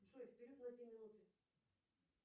джой вперед на две минуты